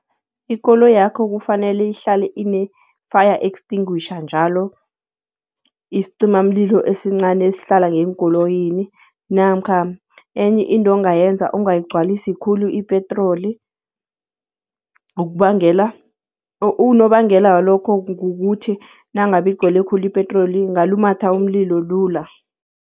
Ikoloyakho kufanele ihlale ine-fire extinguisher njalo, isicimamlilo esincani esihlala ngeenkoloyini. Namkha enye into ongayenza ungayigcwalisi khulu ipetroli, unobangela walokho kukuthi nangabe igcwele khulu ipetroli ingalumatha umlilo lula.